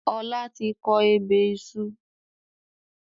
Ọlá tí kọ ebè iṣu